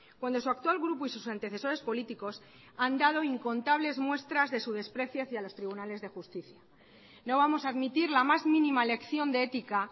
cuando su actual grupo y sus antecesores políticos han dado incontables muestras de su desprecio hacia los tribunales de justicia no vamos a admitir la más mínima lección de ética